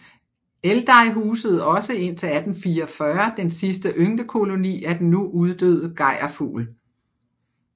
Eldey husede også indtil 1844 den sidste ynglekoloni af den nu uddøde gejrfugl